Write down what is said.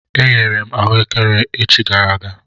E ghere m ahụekere echi gara aga.